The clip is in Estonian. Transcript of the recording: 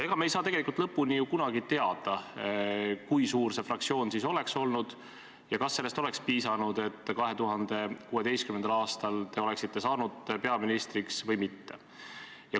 Aga me ei saa tegelikult ju kunagi lõpuni teada, kui suur see fraktsioon siis oleks olnud ja kas sellest oleks piisanud, et 2016. aastal te oleksite saanud peaministriks, või mitte.